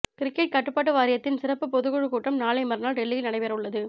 cricket கட்டுப்பாட்டு வாரியத்தின் சிறப்பு பொதுக்குழு கூட்டம் நாளை மறுநாள் டெல்லியில் நடைபெறவுள்ளது